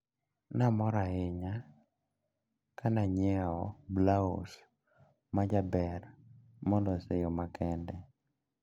Namor ahinya kananyiewo blaus majaber molos e yo ma kende.